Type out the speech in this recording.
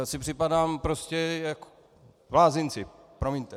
Já si připadám prostě jak v blázinci, promiňte.